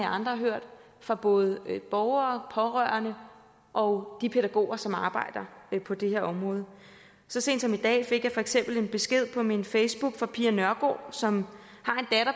andre har hørt fra både borgere pårørende og de pædagoger som arbejder på det her område så sent som i dag fik jeg for eksempel en besked på min facebookside nørgaard som